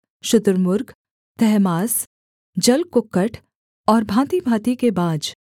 शुतुर्मुर्ग तहमास जलकुक्कट और भाँतिभाँति के बाज